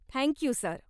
Thank you, sir.